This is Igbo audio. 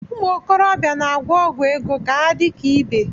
Umuokorobia na-agwọ ọgwụ ego ka ha dị ka ibe